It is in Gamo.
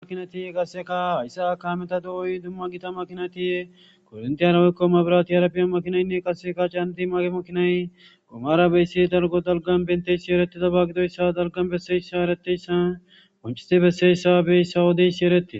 Makinati qasseka hayssa akameta do7oy dumma gita makinati korinti yara wikko mabiratiyarapiyan makinaynne qaseka caanati maaqe makinay gomara beyssi dalgo dalgan benteyssi eretida baagidoyssa dalgan besseyssa ereteyssa konchisti besseyssa beyssa wodeyssi eretie